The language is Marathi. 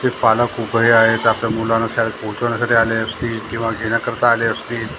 हे पालक उभे आहेत आपल्या मुलांना शाळेत पोहोचवण्यासाठी आले असतील किंवा घेण्याकरता आले असतील.